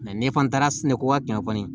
ni fana taara sɛnɛko ka gɛlɛn kɔni